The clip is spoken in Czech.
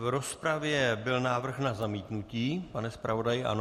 V rozpravě byl návrh na zamítnutí, pane zpravodaji, ano?